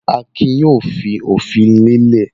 Akin yóò fi òfin lélẹ̀.